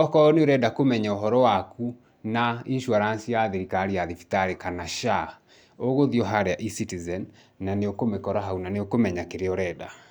okorwo nĩũrenda kũmenya ũhoro waku na insurance ya thirikari ya thibitarĩ kana SHA, ũgũthiĩ o harĩa eCitizen, na nĩũkũmĩkora haũ na nĩũkũmenya kĩrĩa ũrenda.